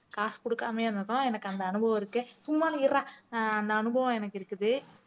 காசு கொடுக்காமயே இருந்திருக்கலாம் எனக்கு அந்த அனுபவம் இருக்கு இருடா ஆஹ் அந்த அனுபவம் எனக்கு இருக்குது